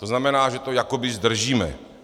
To znamená, že to jakoby zdržíme.